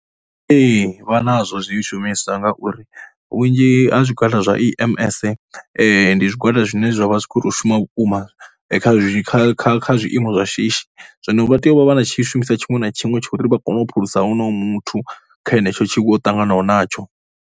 Ee, vha nazwo zwishumiswa ngauri vhunzhi ha zwigwada zwa EMS, ndi zwigwada zwine zwa vha zwi kho tou shuma vhukuma kha kha kha kha zwiiimo zwa shishi. Zwino vha tea u vha vha na tshishumisa tshiṅwe na tshiṅwe tsha uri vha kone u phulusa honoyo muthu kha henetsho tshiwo tshine o ṱanganaho natsho.